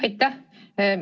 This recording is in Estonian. Aitäh!